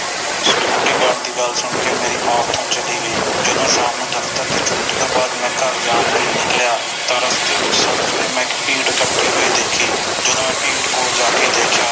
Security Guard ਦੀ ਗੱਲ ਸੁਣ ਕੇ ਮੇਰੀ ਮਾਂ ਓਥੋਂ ਚਲੀ ਗਈ ਜਦੋ ਸ਼ਾਮ ਨੂੰ ਦਫਤਰ ਦੀ ਛੁੱਟੀ ਤੋਂ ਬਾਦ ਮੈਂ ਘਰ ਜਾਣ ਲਈ ਨਿਕਲਿਆ ਤਾ ਰਸਤੇ ਵਿਚ ਸੜਕ ਤੇ ਮੈਂ ਇਕ ਭੀੜ ਇਕਠੀ ਖੜ੍ਹੀ ਹੋਈ ਦੇਖੀ ਜਦੋ ਮੈਂ ਭੀੜ ਕੋਲ ਜਾਕੇ ਦੇਖਿਆ